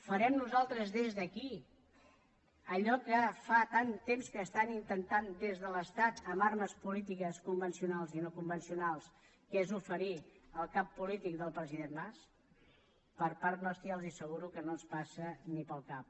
farem nosaltres des d’aquí allò que fa tant temps que estan intentant des de l’estat amb armes polítiques convencionals i no convencionals que és oferir el cap polític del president mas per part nostra ja els ho asseguro que no ens passa ni pel cap